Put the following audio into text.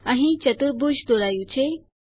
અહીં ચતુર્ભુજ દોરાયું છે